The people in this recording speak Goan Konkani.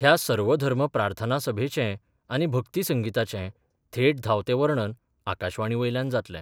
ह्या सर्वधर्म प्रार्थन सभेचे आनी भक्ती संगिताचे थेट धांवते वर्णन आकाशवाणी वयल्यान जातलें.